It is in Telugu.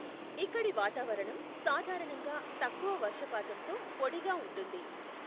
ఇక్కడి వాతావరణం సాధారణంగా తక్కువ వర్షపాతంతో పొడిగా ఉంటుంది.